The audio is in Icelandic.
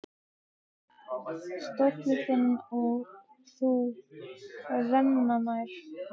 Stóllinn þinn og þú renna nær.